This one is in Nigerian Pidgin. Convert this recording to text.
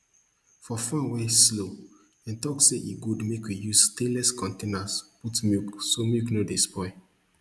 for farm wey slow dem talk say e good make we use stainless containers put milk so milk no dey spoil